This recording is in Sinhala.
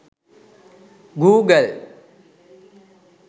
google